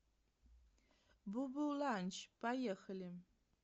бо бо ландж поехали